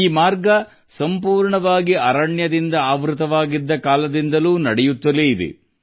ಈ ಮಾರ್ಗವು ಸಂಪೂರ್ಣವಾಗಿ ಅರಣ್ಯದಿಂದ ಆವೃತವಾಗಿದ್ದ ಕಾಲದಿಂದಲೂ ಇದು ನಡೆದುಕೊಂಡು ಬಂದಿದೆ